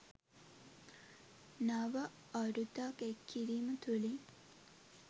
නව අරුතක් එක් කිරීම තුළින්